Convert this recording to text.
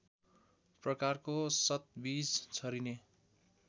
प्रकारको सतबिज छरिने